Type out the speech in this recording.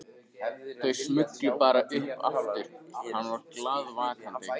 Þau smullu bara upp aftur hann var glaðvakandi.